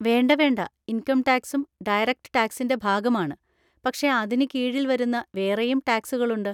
വേണ്ട വേണ്ട, ഇൻകം ടാക്‌സും ഡയറക്റ്റ് ടാക്സിൻ്റെ ഭാഗമാണ്, പക്ഷെ അതിന് കീഴിൽ വരുന്ന വേറെയും ടാക്സുകളുണ്ട്.